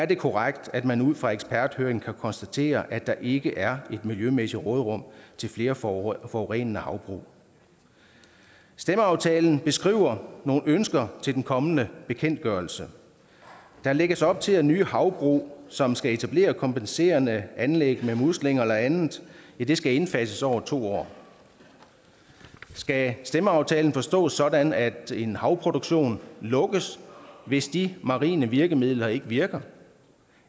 det er korrekt at man ud fra eksperthøringen kan konstatere at der ikke er et miljømæssigt råderum til flere forurenende havbrug i stemmeaftalen beskrives nogle ønsker til den kommende bekendtgørelse der lægges op til at nye havbrug som skal etablere kompenserende anlæg med muslinger eller andet skal indfases over to år skal stemmeaftalen forstås sådan at en havproduktion lukkes hvis de marine virkemidler ikke virker